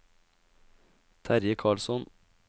Terje Karlsson